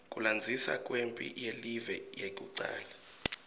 kulandzisa kwemphi yelive yekucala